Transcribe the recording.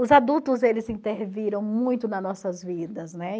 Os adultos, eles interviram muito nas nossas vidas, né?